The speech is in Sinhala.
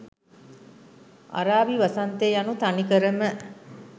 අරාබි “වසන්තය” යනු තනිකරම